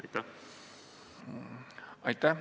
Aitäh!